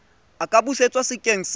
a ka busetswa sekeng sa